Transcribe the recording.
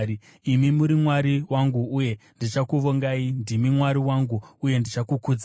Imi muri Mwari wangu, uye ndichakuvongai; ndimi Mwari wangu, uye ndichakukudzai.